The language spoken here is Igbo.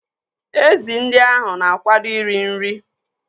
Ezi ndị ahụ na-akwado iri nri.